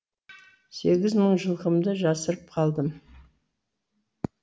сегіз мың жылқымды жасырып қалдым